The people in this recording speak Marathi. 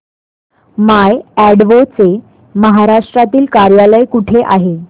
माय अॅडवो चे महाराष्ट्रातील कार्यालय कुठे आहे